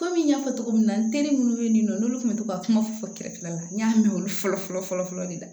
Kɔmi n y'a fɔ cogo min na n teri minnu bɛ yen nɔ n'olu tun bɛ to ka kuma fɔ kɛrɛfɛla la n y'a mɛn olu fɔlɔ fɔlɔ fɔlɔ fɔlɔ de la